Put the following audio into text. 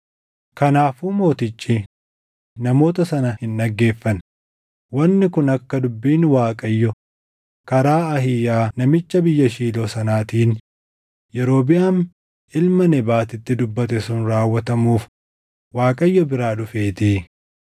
Kanaafuu mootichi namoota sana hin dhaggeeffanne; wanni kun akka dubbiin Waaqayyo karaa Ahiiyaa namicha biyya Shiiloo sanaatiin Yerobiʼaam ilma Nebaatitti dubbate sun raawwatamuuf Waaqayyo biraa dhufeetii.